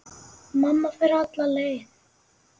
Mamma fer alla leið.